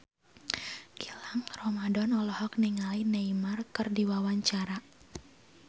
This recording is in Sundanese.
Gilang Ramadan olohok ningali Neymar keur diwawancara